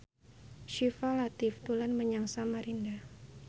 Syifa Latief dolan menyang Samarinda